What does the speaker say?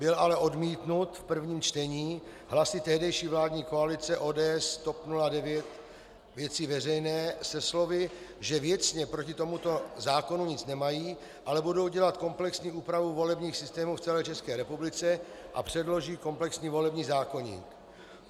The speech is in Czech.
Byl ale odmítnut v prvním čtení hlasy tehdejší vládní koalice ODS, TOP 09, Věci Veřejné se slovy, že věcně proti tomuto zákonu nic nemají, ale budou dělat komplexní úpravu volebních systémů v celé České republice a předloží komplexní volební zákoník.